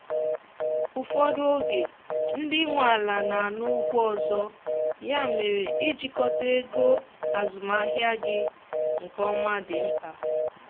ụfọdụ oge ndị nwe ala na ana ụgwọ ọzọ ya mere ịjikota ego azụmahịa gị nke ọma dị mkpa